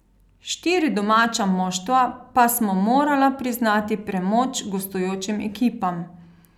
Štiri domača moštva pa smo morala priznati premoč gostujočim ekipam.